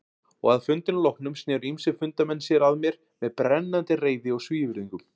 Og að fundinum loknum sneru ýmsir fundarmenn sér að mér með brennandi reiði og svívirðingum.